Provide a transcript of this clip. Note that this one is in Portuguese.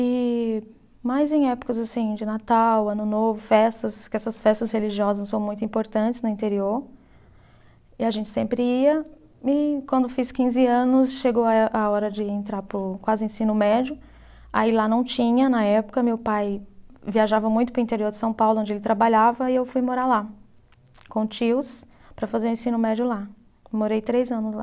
e mais em épocas assim de natal, ano novo, festas, que essas festas religiosas são muito importantes no interior e a gente sempre ia, e quando fiz quinze anos chegou a eh, a hora de entrar para o quase ensino médio, aí lá não tinha na época, meu pai viajava muito para o interior de São Paulo onde ele trabalhava e eu fui morar lá com tios para fazer o ensino médio lá, morei três anos lá